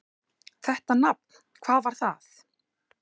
Þetta nafn: hvað var það?